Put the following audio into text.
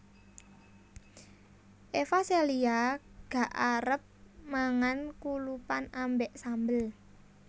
Eva Celia gak arep mangan kulupan ambek sambel